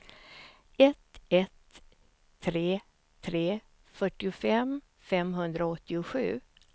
ett ett tre tre fyrtiofem femhundraåttiosju